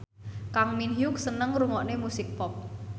Kang Min Hyuk seneng ngrungokne musik pop